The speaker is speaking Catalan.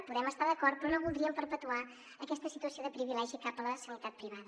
hi podem estar d’acord però no voldríem perpetuar aquesta situació de privilegi cap a la sanitat privada